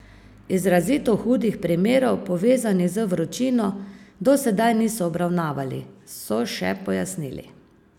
Izrazito hudih primerov, povezanih z vročino, do sedaj niso obravnavali, so še pojasnili.